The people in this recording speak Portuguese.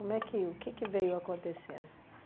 é que, o que que veio acontecendo? S.